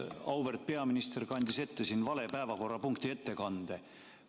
Auväärt peaminister kandis ette vale päevakorrapunkti ettekande.